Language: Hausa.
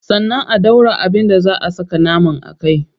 Sannan a dora abin da zaa a saka naman a kai.